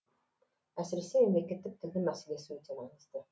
әсіресе мемлекеттік тілдің мәселесі өте маңызды